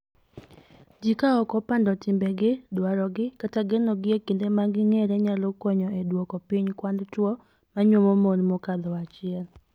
Jii ka ok opando timbegi, dwarogi, kata genogi e kinde ma ging'ere nyalo konyo e duoko piny kwand chwo ma nyuomo mon mokadho achiel.